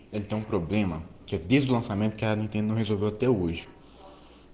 это проблема киргизов момент к дневной живуч